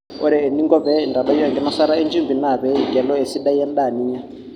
ore eninko pee intadoyio enkinosata enchumbi naa pee igelu esidai endaa ninya